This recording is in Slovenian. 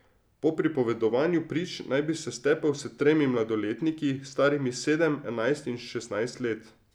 Po pripovedovanju prič naj bi se stepel s tremi mladoletniki, starimi sedem, enajst in šestnajst let.